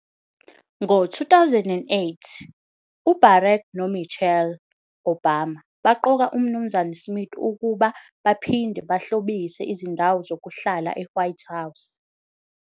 Ngo-2008, uBarack noMichelle Obama baqoka uMnuz Smith ukuba baphinde bahlobise izindawo zokuhlala eWhite House.